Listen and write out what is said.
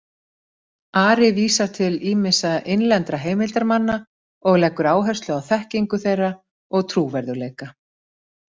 Ari vísar til ýmissa innlendra heimildarmanna og leggur áherslu á þekkingu þeirra og trúverðugleika.